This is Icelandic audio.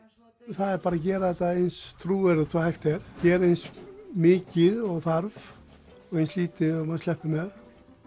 það er bara að gera þetta eins trúverðugt og hægt er gera eins mikið og þarf og eins lítið og maður sleppur með